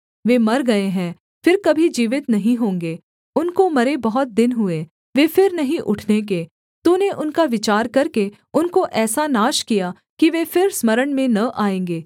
वे मर गए हैं फिर कभी जीवित नहीं होंगे उनको मरे बहुत दिन हुए वे फिर नहीं उठने के तूने उनका विचार करके उनको ऐसा नाश किया कि वे फिर स्मरण में न आएँगे